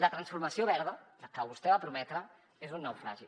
la transformació verda la que vostè va prometre és un naufragi